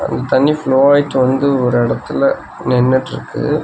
அந்த தண்ணீ ஃபுளோ ஆயிட்டு வந்து ஒரு இடத்துல நின்னுட்ருக்கு.